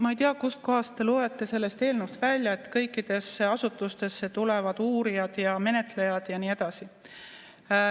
Ma ei tea, kust kohast te loete sellest eelnõust välja, et kõikidesse asutustesse tulevad uurijad ja menetlejad ja nii edasi.